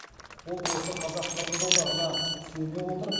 ол осы қазақ қырғыз одағына сүйене отырып